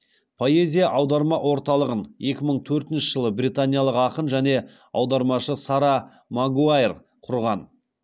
поэзия аударма орталығын екі мың төртінші жылы британиялық ақын және аудармашы сара магуайр құрған